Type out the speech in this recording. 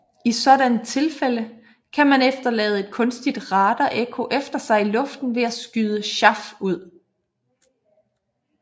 I sådanne tilfælde kan man efterlade et kunstigt radarekko efter sig i luften ved at skyde chaff ud